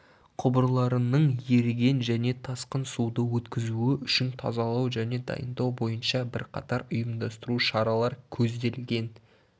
құбырларының еріген және тасқын суды өткізуі үшін тазалау және дайындау бойынша бірқатар ұйымдастыру шаралар көзделген